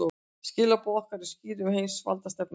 Skilaboð okkar eru skýr um heimsvaldastefnuna